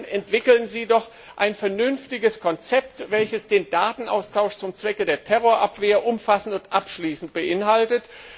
Zum einen Entwickeln Sie doch ein vernünftiges Konzept, welches den Datenaustausch zum Zwecke der Terrorabwehr umfassend und abschließend beinhaltet.